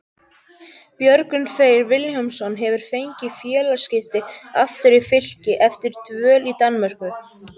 Björgvin Freyr Vilhjálmsson hefur fengið félagaskipti aftur í Fylki eftir dvöl í Danmörku.